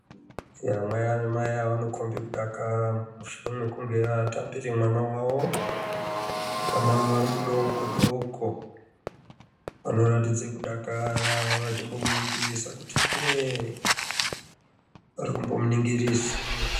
Yaa mai mai ava vanokomba kudakara mushure mekunge vatambire mwana wawo. Mwana mudoko doko. Vanoratidze kudakara vachimbomuningirisa kuti ndee varikumbomuningirisa